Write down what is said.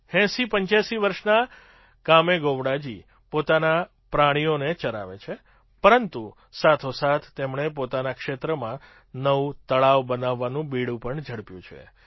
૮૦૮૫ વર્ષના કામેગોવડાજી પોતાના પ્રાણીઓને ચરાવે છે પરંતુ સાથોસાથ તેમણે પોતાના ક્ષેત્રમાં નવું તળાવ બનાવવાનું બીડું પણ ઝડપ્યું છે